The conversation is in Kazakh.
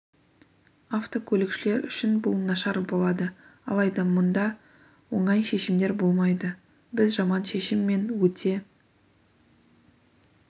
автокөлікшілер үшін бұл нашар болады алайда мұнда оңай шешімдер болмайды біз жаман шешім мен өте